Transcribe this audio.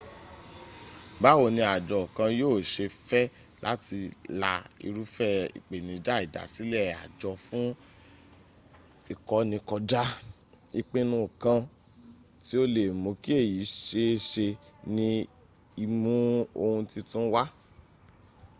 báwo ni àjọ kan yóò ṣe fẹ́ láti lá irúfẹ́ ìpèníjà ìdásílẹ̀ àjọ fún ìkọ́ni kọjá ìpinnu kan tí o lè mú kí èyí ṣe é ṣe ni ìmú ohun titun wá